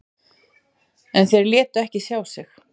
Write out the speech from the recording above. En þeir létu ekki sjá sig.